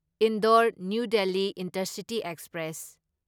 Indore new Delhi intercity express